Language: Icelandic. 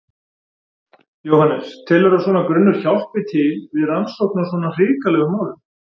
Jóhannes: Telurðu að svona grunnur hjálpi til við rannsókn á svona hrikalegum málum?